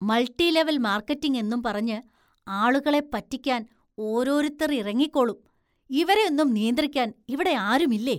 Multi level‍ marketing എന്നും പറഞ്ഞ് ആളുകളെ പറ്റിക്കാന്‍ ഓരോരുത്തര്‍ ഇറങ്ങിക്കോളും, ഇവരെയൊന്നും നിയന്ത്രിക്കാന്‍ ഇവിടെയാരുമില്ലേ?